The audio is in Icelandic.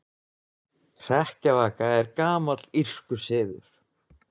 Hrekkjavaka er gamall írskur siður.